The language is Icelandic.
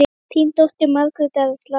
Þín dóttir, Margrét Erla.